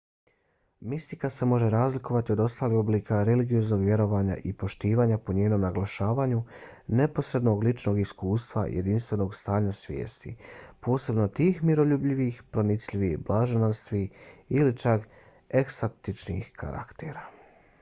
mistika se može razlikovati od ostalih oblika religioznog vjerovanja i poštovanja po njenom naglašavanju neposrednog ličnog iskustva jedinstvenog stanja svijesti posebno tih miroljubivih pronicljivih blaženstvenih ili čak ekstatičnih karaktera